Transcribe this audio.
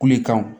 Kule kan